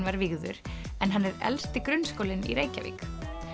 var vígður en hann er elsti grunnskólinn í Reykjavík